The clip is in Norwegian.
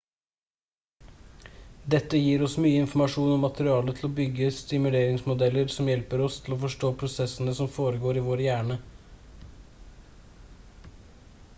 dette gir oss mye informasjon og materiale til å bygge simuleringsmodeller som hjelper oss til å forstå prosessene som foregår i vår hjerne